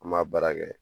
An m'a baara kɛ